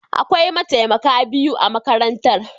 Akwai mataimaka biyu a makarantar.